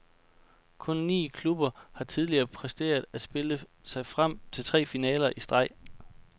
Kun ni klubber har tidligere præsteret at spille sig frem til tre finaler i streg.